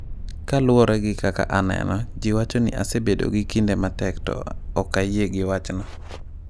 "Kaluwore gi kaka aneno, ji wacho ni asebedo gi kinde matek to ok ayie gi wachno."